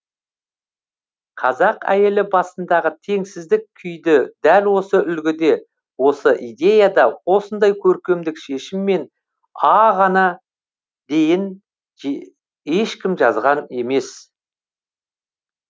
қазақ әйелі басындағы теңсіздік күйді дәл осы үлгіде осы идеяда осындай көркемдік шешіммен а ға дейін ешкім жазған емес